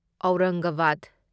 Aurangabad